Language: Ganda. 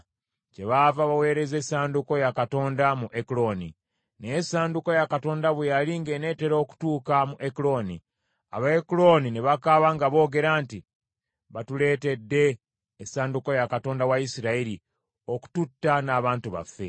Kyebaava baweereza essanduuko ya Katonda mu Ekuloni. Naye essanduuko ya Katonda bwe yali ng’eneetera okutuuka mu Ekuloni, Abaekuloni ne bakaaba nga boogera nti, “Batuleetedde essanduuko ya Katonda wa Isirayiri, okututta n’abantu baffe.”